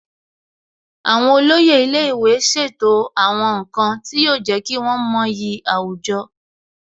Àwọn olóyè ilé ìwé ṣètò àwọn nǹkan tí yóò jẹ́ kí wọ́n mọyì àwùjọ